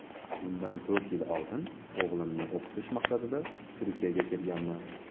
Bundan to‘rt yil oldin o‘g‘limni o‘qitish maqsadida Turkiyaga kelganman.